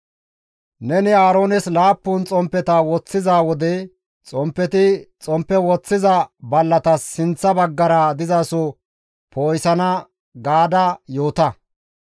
« ‹Neni Aaroones laappun xomppeta istta bolla woththiza wode xomppeti xomppe istta bolla woththiza ballatas sinththa baggara dizaso poo7isana› gaada yoota.»